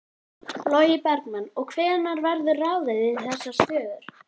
Logi Bergmann: Og hvenær verður ráðið í þessar stöður?